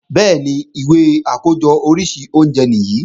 Bẹ́ẹ̀ni, ìwé àkójọ oríṣi oúnjẹ nìyí